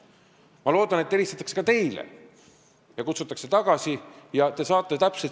Ma loodan, et helistatakse ka teile ja kutsutakse teid tagasi.